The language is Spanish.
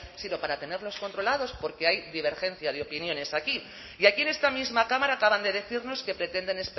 sino para tenerlos controlados porque hay divergencia de opiniones aquí y aquí en esta misma cámara acaban de decirnos que pretenden